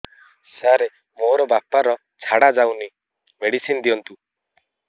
ସାର ମୋର ବାପା ର ଝାଡା ଯାଉନି ମେଡିସିନ ଦିଅନ୍ତୁ